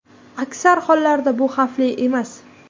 Aksar hollarda bu xavfli emas.